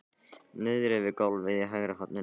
Niðri við gólfið í hægra horninu!